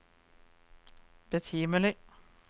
betimelig